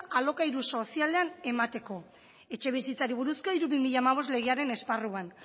alokairu sozialean emateko etxebizitzari buruzko hiru barra bi mila hamabost legearen esparruan